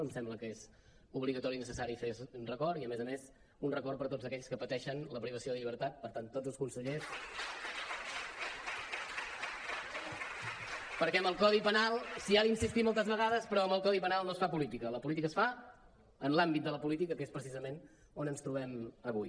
em sembla que és obligatori i necessari fer un record i a més a més un record per tots aquells que pateixen la privació de llibertat per tant tots els consellers perquè amb el codi penal s’hi ha d’insistir moltes vegades però amb el codi penal no es fa política la política es fa en l’àmbit de la política que és precisament on ens trobem avui